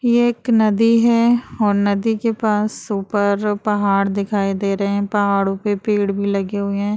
ये एक नदी है और नदी के पास ऊपर पहाड़ दिखाई दे रहे हैं। पहाड़ों पे पेड़ भी लगे हुए हैं।